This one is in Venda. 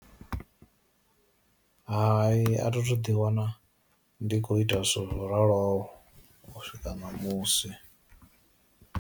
Hai a thi thu ḓi wana ndi kho ita zworaloho u swika ṋamusi.